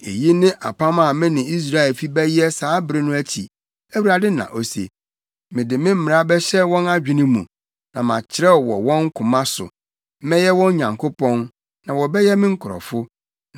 “Eyi ne apam a me ne Israelfi bɛyɛ saa bere no akyi,” Awurade na ose. “Mede me mmara bɛhyɛ wɔn adwene mu, na makyerɛw wɔ wɔn koma so. Mɛyɛ wɔn Nyankopɔn, na wɔbɛyɛ me nkurɔfo.